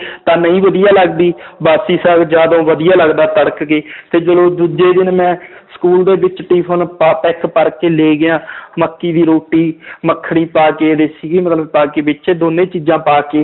ਤਾਂ ਨਹੀਂ ਵਧੀਆ ਲੱਗਦੀ ਬਾਸੀ ਸਾਘ ਜ਼ਿਆਦਾ ਵਧੀਆ ਲੱਗਦਾ ਤੜਕ ਕੇ ਤੇ ਚਲੋ ਦੂਜੇ ਦਿਨ ਮੈਂ school ਦੇ ਵਿੱਚ tiffin ਪਾ ਤਾ, ਇੱਕ ਭਰਕੇ ਲੈ ਗਿਆ ਮੱਕੀ ਦੀ ਰੋਟੀ ਮੱਖਣੀ ਪਾ ਕੇ ਸੀਗੀ ਮਤਲਬ ਪਾ ਕੇ ਵਿੱਚ ਦੋਨੇ ਚੀਜ਼ਾਂ ਪਾ ਕੇ